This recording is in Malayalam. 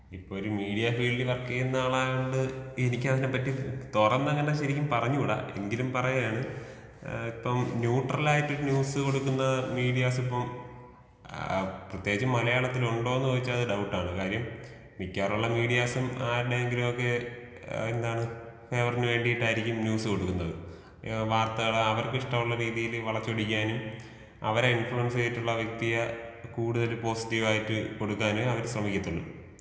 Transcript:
ഇപ്പൊ ഒരു മീഡിയ ഫീൽടിൽ വര് ക്കീയുന്ന ആളായത് കൊണ്ട് എനിക്ക് അതിനെ പറ്റി തൊറന്നങനെ ശെരിക്കും പറഞ്ഞുട എങ്കിലും പറയാണ് ഏ ഇപ്പം ന്യൂട്രലായിട്ട് ന്യൂസ് കൊടുക്കുന്ന മീഡിയാസ് ഇപ്പം ഏ പ്രത്യെകിച്ച് മലയാളത്തില് ഉണ്ടൊന്ന് ചോയിച്ച അത് ഡൗട്ടാണ് കാര്യം മിക്കവാറുള്ള മീഡിയാസും ആരുടെയെങ്കിലൊക്കെ ഏ എന്താണ് ഫേവര് ന് വേണ്ടീട്ടായിരിക്കും ന്യൂസ് കൊടുക്കുന്നത് വാർത്തകൾ അവർക്ക് ഇഷ്ട്ടൊള്ള രീതീല് വളച്ചൊടിക്കാനും അവരെ ഇൻഫ്ളൂവൻസ് ചെയ്തിട്ടുള്ള വ്യക്തിയെ കൂടുതൽ പോസിറ്റീവ് ആയിട്ട് കൊടുക്കാനുമേ അവര് ശ്രമിക്കത്തൊള്ളു.